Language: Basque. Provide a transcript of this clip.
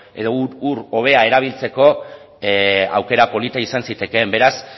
edo ur hobea erabiltzeko aukera polita izan zitekeen beraz